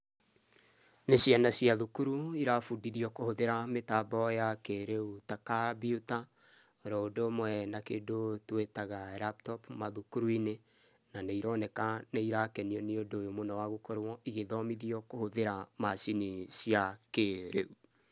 Nĩ ciana cia thukuru irabundithio kũhũthĩra mĩtambo ya kĩĩrĩu ta kambiuta oroũndũ ũmwe na kĩndũ tũĩtaga laptop mathukuru-inĩ na nĩironeka nĩirakenio nĩ ũndũ ũyũ wa gũkorũo igĩthomithio kũhũthĩra macini cia kĩĩrĩu.